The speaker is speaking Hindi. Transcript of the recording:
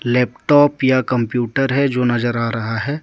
लैपटॉप या कंप्यूटर है जो नजर आ रहा है ।